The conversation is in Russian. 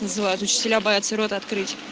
называют учителя бояться рот открыть